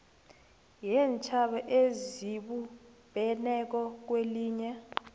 yeentjhaba ezibumbeneko kwelinye